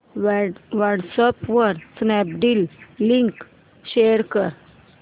WhatsApp वर Snapdeal link share कर